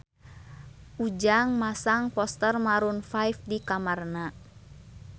Ujang masang poster Maroon 5 di kamarna